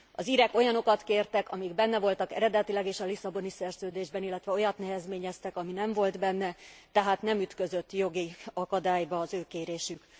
Az írek olyanokat kértek, amik benne voltak eredetileg is a Lisszaboni Szerződésben, illetve olyat nehezményeztek, ami nem volt benne, tehát nem ütközött jogi akadályba az ő kérésük.